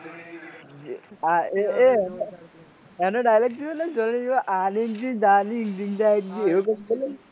એ એનો dialogue જોયો આલી કી ડાળી જિન્દા એવું કૈક બોલે